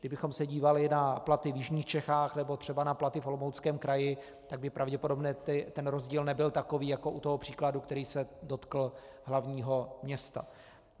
Kdybychom se dívali na platy v jižních Čechách nebo třeba na platy v Olomouckém kraji, tak by pravděpodobně ten rozdíl nebyl takový jako u toho příkladu, který se dotkl hlavního města.